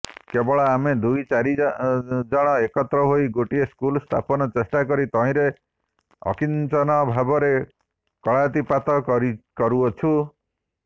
କେବଳ ଆମେ ଦୁଇଚାରିଜଣ ଏକତ୍ରହୋଇ ଗୋଟିଏ ସ୍କୁଲ ସ୍ଥାପନ ଚେଷ୍ଟାକରି ତହିଁରେ ଅକିଞ୍ଚନ ଭାବରେ କାଳାତିପାତ କରୁଅଛୁଁ